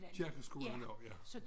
Kirkeskolen og ja